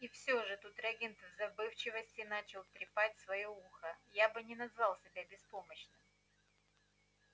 и всё же тут регент в забывчивости начал трепать своё ухо я бы не назвал себя беспомощным